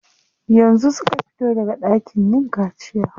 Yanzu suka fito daga ɗakin yin kaciya.